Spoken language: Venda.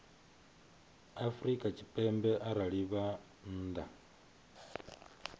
afrika tshipembe arali vha nnḓa